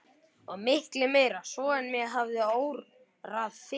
Og miklu meira svo en mig hafði órað fyrir.